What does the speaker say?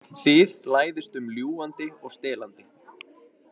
Þið læðist um ljúgandi og stelandi.